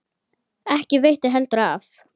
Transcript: Ekki veitti heldur af.